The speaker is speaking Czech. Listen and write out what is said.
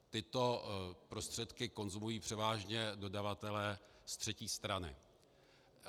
Tyto prostředky konzumují převážně dodavatelé z třetí strany.